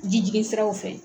Ji jigin siraw fɛ.